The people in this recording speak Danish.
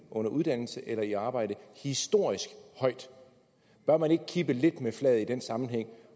under uddannelse eller i arbejde historisk høj bør man ikke kippe lidt med flaget i den sammenhæng